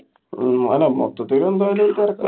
ഉം അല്ല മൊത്തത്തില് എന്തായാലും ഒരു തെരക്ക്